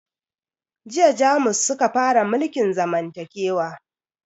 Jiya jamus suka fara mulkin zamantakewa